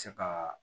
Se ka